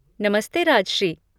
नमस्ते राजश्री।